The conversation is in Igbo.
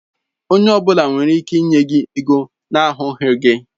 Onye ọ bụla nwere ike ịnye gi ego na ahụghị gi